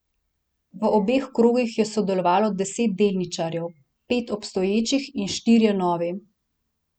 V obeh krogih je sodelovalo devet delničarjev, pet obstoječih in štirje novi.